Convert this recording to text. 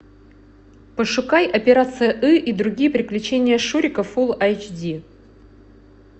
пошукай операция ы и другие приключения шурика фулл айч ди